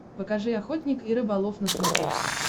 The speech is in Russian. покажи охотник и рыболов на смотрешке